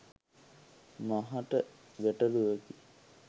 මාහට ගැටැළුවකි